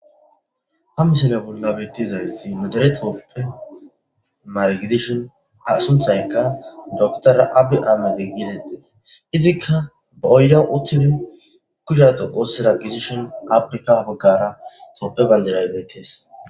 Ha misile bolla betizayisi nu dere tophiya mare gidida docter aahimed abi getetesi, izika baa oyideni utidi kushiya dhoqu othidi dishini ape ha baggara tophe bandirayi dessi